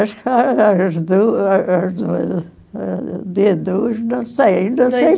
Acho que as as duas, não sei, não sei